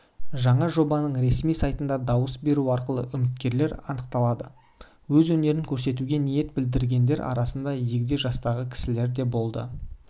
жаңа жобаның ресми сайтында дауыс беру арқылы үміткерлер анықталды өз өнерін көрсетуге ниет білдіргендер арасында егде жастағы кісілер де болды